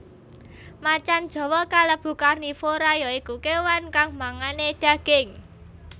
Macan jawa kalebu karnivora ya iku kéwan kang mangané daging